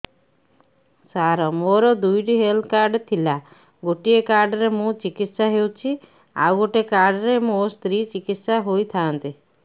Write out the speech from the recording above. ସାର ମୋର ଦୁଇଟି health card ଥିଲା ଗୋଟେ କାର୍ଡ ରେ ମୁଁ ଚିକିତ୍ସା ହେଉଛି ଆଉ ଗୋଟେ କାର୍ଡ ରେ ମୋ ସ୍ତ୍ରୀ ଚିକିତ୍ସା ହୋଇଥାନ୍ତେ